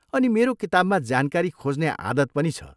अनि मेरो किताबमा जानकारी खोज्ने आदत पनि छ।